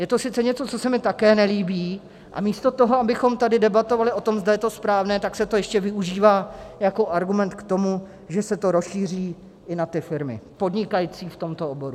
Je to sice něco, co se mi také nelíbí, a místo toho, abychom tady debatovali o tom, zda je to správné, tak se to ještě využívá jako argument k tomu, že se to rozšíří i na ty firmy podnikající v tomto oboru.